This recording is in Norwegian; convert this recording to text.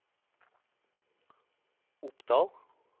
Opdahl